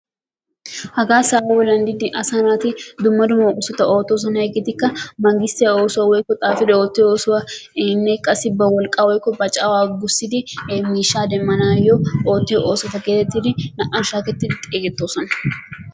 Hagaa sa'a bollan diidi asa naati dummabata oottoosona, hegeetikka mangissttiya oosuwa woykko xaafidi ootiyo oosuwa qassi ba wolqqaa woykko ba cawaa gussidi miishshaa demmanaayo ootiyo oosota getettidi naa"an shaakketidi xeegettoosona.